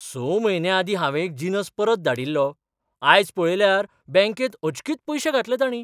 स म्हयने आदीं हावें एक जिनस परत धाडिल्लो. आज पळयल्यार बँकेंत अचकीत पयशे घातले तांणी.